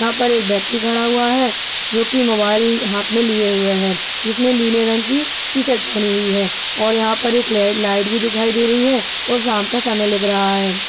यहा पर एक व्यक्ति खड़ा हुआ है जोकि मोबाइल हाथ मे लिए हुए है जिस ने नीले रंग की टी-शर्ट पहनी हुई है और यहा पर एक रेड लाइट भी दिखाई दे रही है और शाम का समय लग रहा है।